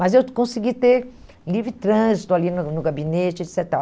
Mas eu consegui ter livre trânsito ali no no gabinete, et cetera e tal.